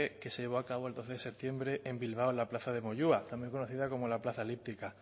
que se llevó a cabo el doce de septiembre en bilbao en la plaza de moyua también conocida como la plaza elíptica